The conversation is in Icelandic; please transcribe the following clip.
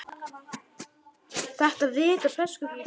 Þetta vita breskar konur.